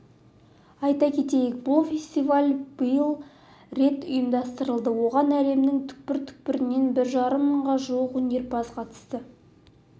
айта кетейік бұл фестиваль биыл рет ұйымдастырылды оған әлемнің түкпір-түкпірінен бір жарым мыңға жуық өнерпаз қатысты